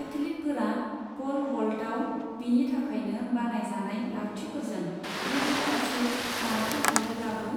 एथलिटफोरा pole वल्टआव बिनि थाखायनो बानायजानाय लावथिफोरजों गोजौफारसे नारखो हरोब्लाबो